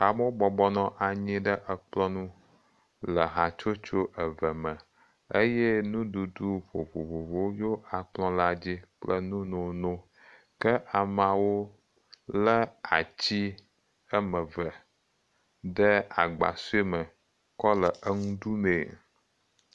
Amewo bɔbɔ nɔ anyi ɖe ekplɔ nu le hatsotso eve me eye nuɖuɖu vovovowo yo akplɔ la dzi kple nu nononowo. Ke ameawo le atsi eme ve ɖe agba sue me kɔ le enu ɖu mee.